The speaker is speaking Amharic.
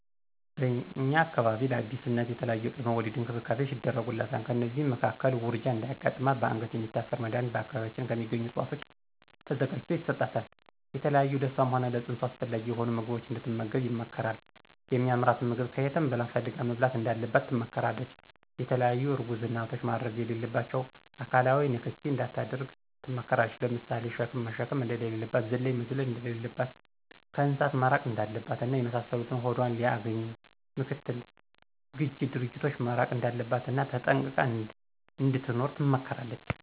በእኛ አካባቢ ለአዲስ እናት የተለያዪ የቅድመ ወሊድ እንክብካቤዎች ይደረጉላታል። ከእነዚህም መካከል ውርጃ እንዳያጋጥማትበአንገት የሚታሰር መድኀኒት በአካባቢያችን ከሚገኙ እፅዋቶች ተዘጋጅቶ ይሰጣታል፣ የተለያዩ ለእሷም ሆነ ለፅንሱ አስፈላጊ የሆኑ ምግቦችን እንድትመገብ ይመከራል የሚአምራትንም ምግብ ከየትም ብላ ፈልጋ መብላት እንዳለባት ትመከራለች፣ የተለያዪ እርጉዝ እናቶች ማድረግ የሌለባቸውን አካላዊ ንክኪ እንዳታደርግ ትመከራለች ለምሳሌ ሸክም መሸከም እንደሌለባት፣ ዝላይ መዝለል እንደለለባት፣ ከእንስሳት መራቅ እንዳለባት እና የመሳሰሉትን ሆዷን ሊአገኙ ምክትል ግጅ ድርጊቶች መራቅ እንዳለባት እና ተጠንቅቃ እንድትኖር ትመከራለች።